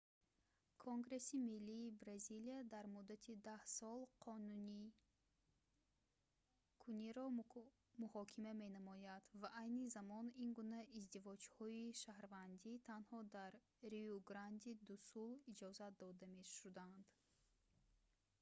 конгресси миллии бразилия дар муддати 10 сол қонуникуниро муҳокима менамояд ва айни замон ин гуна издивоҷҳои шаҳрвандӣ танҳо дар риу-гранди-ду-сул иҷозат дода шудаанд